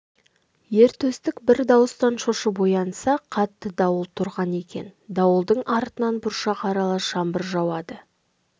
ер төстік бір дауыстан шошып оянса қатты дауыл тұрған екен дауылдың артынан бұршақ аралас жаңбыр жауады